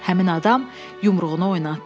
Həmin adam yumruğunu oynatdı.